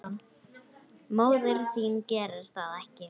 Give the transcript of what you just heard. Móðir þín gerir það ekki.